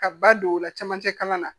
Ka ba don o la camancɛ kalan na